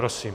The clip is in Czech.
Prosím.